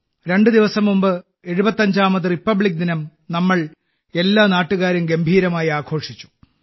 രണ്ട് ദിവസം മുമ്പ് 75ാമത് റിപ്പബ്ലിക് ദിനം നമ്മൾ എല്ലാ നാട്ടുകാരും ഗംഭീരമായി ആഘോഷിച്ചു